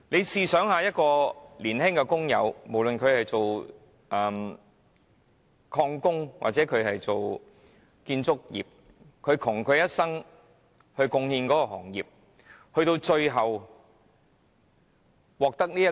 試想想，一名原本從事石礦業或建築業的年輕工友，窮其一生為行業作出貢獻，最終卻因而得病。